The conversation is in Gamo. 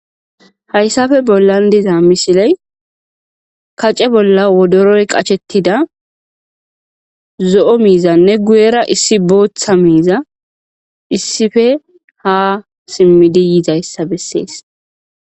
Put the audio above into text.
Hayisappe bollan dizza missile kace bolla wodoroyi qachchethidda zoo mizanne guyera issi bootha mizza issipe haa simmidi yizaayissa besses.